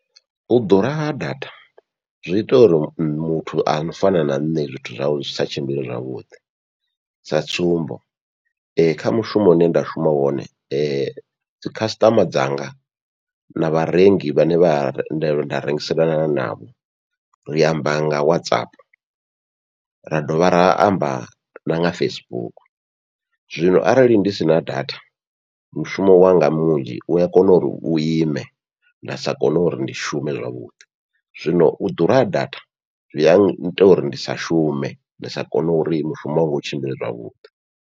U ḓura ha data zwi ita uri muthu ano fana na nṋe zwithu zwawe zwi sa tshimbile zwavhuḓi, sa tsumbo kha mushumo une nda shuma wone dzikhasiṱama dzanga na vharengi vhane vha nda rengiselana navho ri amba nga WhatsApp ra dovha ra amba na nga Facebook. Zwino arali ndi sina data mushumo wanga munzhi ua kona uri u ime nda sa kone uri ndi shume zwavhuḓi, zwino u ḓura ha data zwi aita uri ndi sa shume ndi sa kone uri mushumo wa nga usa tshimbile zwavhuḓi